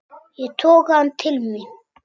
Ég toga hann til mín.